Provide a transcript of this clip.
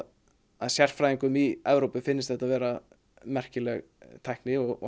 að sérfræðingum í Evrópu finnst þetta vera merkileg tækni og